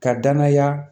Ka danaya